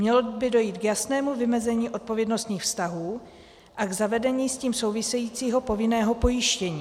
Mělo by dojít k jasnému vymezení odpovědnostních vztahů a k zavedení s tím souvisejícího povinného pojištění.